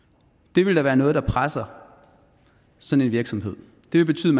det vil da være noget der presser sådan en virksomhed det vil betyde